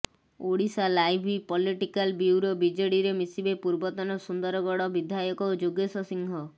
Odisha live political bureau ବିଜେଡ଼ିରେ ମିଶିବେ ପୂର୍ବତନ ସୁନ୍ଦରଗଡ ବିଧାୟକ ଯୋଗେଶ ସିଂହ